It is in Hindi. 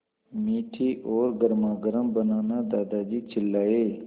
मीठी और गर्मागर्म बनाना दादाजी चिल्लाए